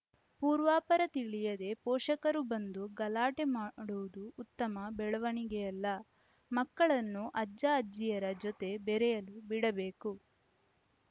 ಪೂರ್ವಾಪರ ತಿಳಿಯದೇ ಪೋಷಕರು ಬಂದು ಗಲಾಟೆ ಮಾಡುವುದು ಉತ್ತಮ ಬೆಳವಣಿಗೆಯಲ್ಲ ಮಕ್ಕಳನ್ನು ಅಜ್ಜ ಅಜ್ಜಿಯರ ಜೊತೆ ಬೆರೆಯಲು ಬಿಡಬೇಕು